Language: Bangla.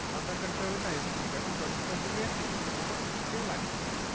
আধার-কার্ড টাই হয়েছে ID proof এখন জন্ম certificate কোন কিছুতেই লাগছেনা।